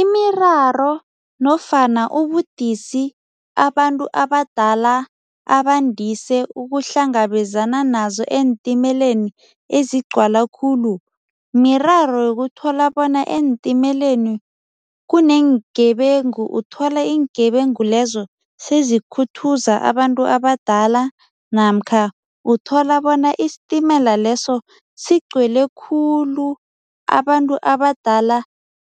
Imiraro nofana ubudisi abantu abadala abandise ukuhlangabezana nazo eentimeleni ezigcwala khulu, miraro yokuthola bona eentimeleni kuneengebengu. Uthola iingebengu lezo sezikhuthuza abantu abadala namkha uthola bona isitimela leso sigcwele khulu, abantu abadala